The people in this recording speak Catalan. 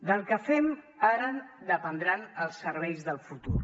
del que fem ara dependran els serveis del futur